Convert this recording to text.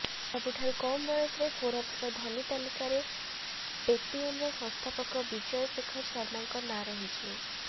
ସବୁଠାରୁ କମ୍ ବୟସରେ ଫୋର୍ବସର ଧନୀ ତାଲିକାରେ ପେଟିଏମର ସଂସ୍ଥାପକ ବିଜୟ ଶେଖର ଶର୍ମାଙ୍କ ନାଁ ରହିଛି